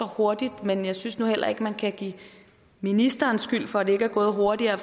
hurtigt men jeg synes nu heller ikke at man kan give ministeren skylden for at det ikke er gået hurtigere